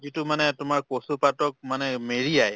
যিটো মানে তোমাক কচু পাতক মানে মাৰিয়াই